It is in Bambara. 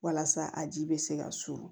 Walasa a ji bɛ se ka surun